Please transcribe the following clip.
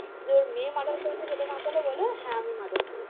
যে ওর মেয়ে murder করেছে সেটা না বলে হ্যাঁ, আমি murder করেছি।